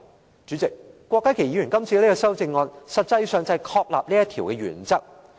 代理主席，郭家麒議員的修正案實際上旨在確立這個原則。